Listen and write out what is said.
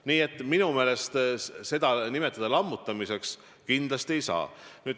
Nii et minu meelest seda lammutamiseks nimetada kindlasti ei saa.